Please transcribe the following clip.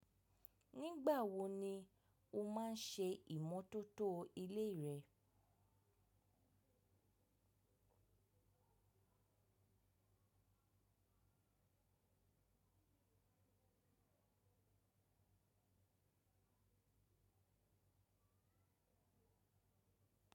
Nígbà wo ni o máa ń ṣe ìmọ́tótó ilé rẹ?